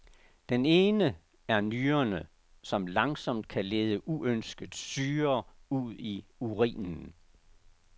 Den ene er nyrerne, som langsomt kan lede uønsket syre ud i urinen.